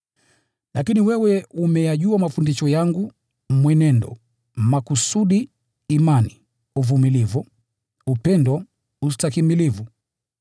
Lakini wewe umeyajua mafundisho yangu, mwenendo, makusudi, imani, uvumilivu, upendo, ustahimilivu,